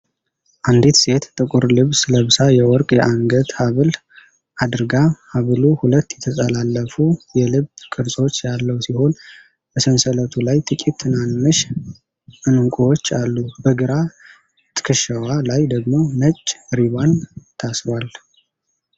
አንዲት ሴት ጥቁር ልብስ ለብሳ የወርቅ የአንገት ሐብል አድርጋ ። ሐብሉ ሁለት የተጠላለፉ የልብ ቅርጾች ያለው ሲሆን፣ በሰንሰለቱ ላይ ጥቂት ትናንሽ ዕንቁዎች አሉ። በግራ ትከሻዋ ላይ ደግሞ ነጭ ሪባን ታስሯል።